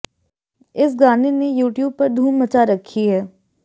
इस गाने ने यूट्यूब पर धूम मचा रखी है